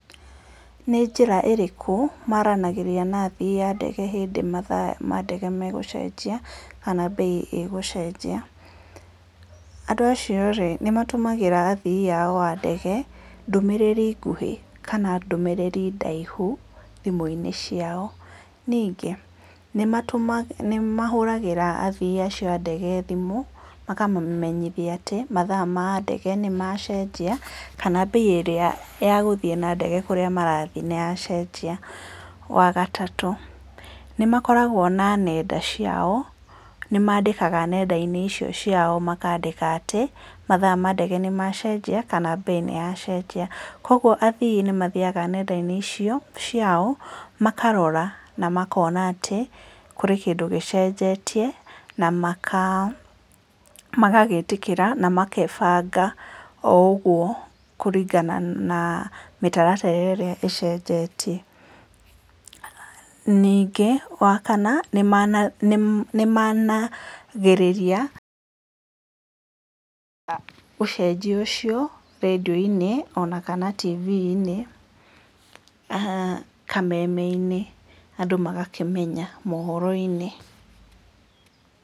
Nĩ njĩra ĩrĩkũ maranagĩria na athii a ndege hindĩ mathaa mandege megũcenjia, kana bei ĩgũcenjia, andũ acio rĩ, nĩ matũmagĩra athii ao a ndege ndũmĩrĩri nguhĩ kana nndũmĩrĩri ndaihu, thimũ inĩ ciao, ningĩ, nĩ matũ nĩ mahũragĩra athii acio a ndege thimũ makamamenyithia atĩ mathaa ma ndege nĩ macenjia, kana bei ĩrĩa ya gũthiĩ na ndege kũrĩa marathiĩ nĩ yacenjia, wa gatatũ, nĩ makoragwo na nenda ciao, nĩ mandĩkaga nenda-inĩ icio ciao, makandĩka atĩ, mathaa mandege nĩ macenjia, kana bei nĩ ya cenjia, koguo a thiĩ nĩ mathiaga nenda-inĩ icio ciao, makarora na makona atĩ, kũrĩ kĩndũ gĩcenjetie, na maka magagĩtĩkĩra na makebanga, ougwo kũringana na mĩtaratara ĩrĩa ĩcenjetie, ningĩ wa kana, nĩma nĩmanagĩrĩria ũcenjia ũcio redio-inĩ ona kana tivi-inĩ, aha kameme-inĩ, andũ magakĩmenya mohoro-inĩ.